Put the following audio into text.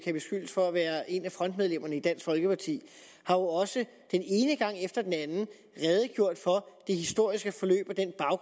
kan beskyldes for at være en af frontmedlemmerne i dansk folkeparti også den ene gang efter den anden redegjort for det historiske forløb